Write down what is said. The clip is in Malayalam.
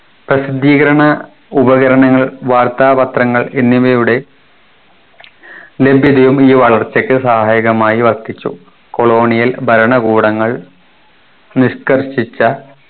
പ്രസിദ്ധീകരണ ഉപകരണങ്ങൾ വാർത്താപത്രങ്ങൾ എന്നിവയുടെ ലഭ്യതയും ഈ വളർച്ചയ്ക്ക് സഹായകമായി വർദ്ധിച്ചു colonial ഭരണകൂടങ്ങൾ നിഷ്കർഷിച്ച